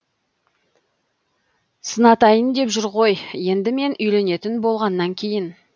сынатайын деп жүр ғой енді мен үйленетін болғаннан кейін